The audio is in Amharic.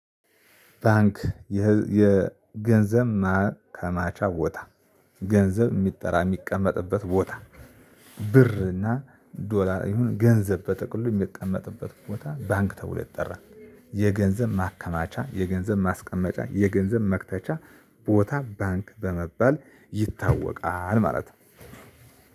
ባንክ የገንዘብ ማከማቻ ቦታ ገንዘብ የሚጠራቀምበት የሚቀመጥበት ቦታ ብር እና ዶላር ይሁን ገንዘብ በጥቅሉ የሚቀመጥበት ቦታ ባንክ ተብሎ ይጠራል። የገንዘብ ማከማቻ የገንዘብ ማስቀመጫ የገንዘብ መክተቻ ቦታ ባንክ ተብሎ ይጠራል ማለት ነው።